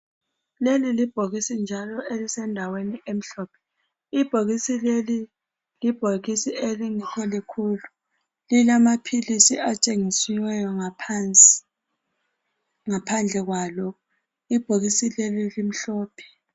Leli libhokisi njalo elisendaweni emhlophe ibhokisi leli libhokisi elingekho likhulu lilamaphilisi atshengisiweyo ngaphansi ngaphandle kwalo ibhokisi leli limhlophe.